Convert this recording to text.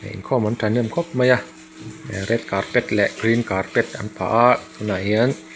inkhawm an thahnem khawp mai a ah red carpet leh green carpet an phah a tunah hian--